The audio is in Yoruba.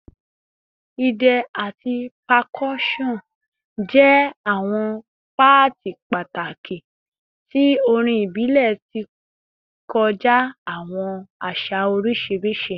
Idẹ ati percussion jẹ awọn paati pataki ti orin ibile kọja awọn aṣa oriṣiriṣi